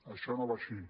això no va així